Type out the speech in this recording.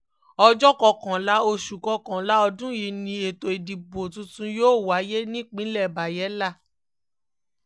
ọjọ́ kọkànlá oṣù kọkànlá ọdún yìí ni ètò ìdìbò tuntun yóò wáyé nípínlẹ̀ bayela